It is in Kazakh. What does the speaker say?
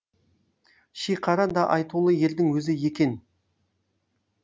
шиқара да айтулы ердің өзі екен